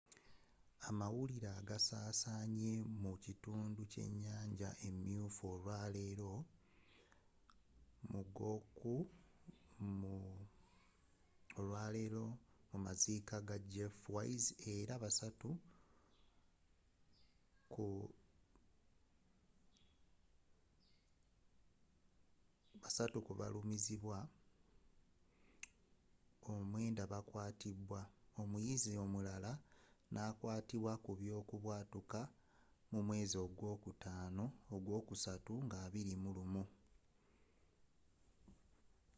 amawulire agasaasanye mu kitundu kyenyanja emyufu olwaleero mu maziika ga jeff weise era basatu ku balumizibwa omwenda bakwatibwa omuyizi omulala nakwatubwa kubyokubwatuuka mu mwezi gwokusatu nga 21